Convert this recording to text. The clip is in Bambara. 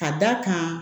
Ka d'a kan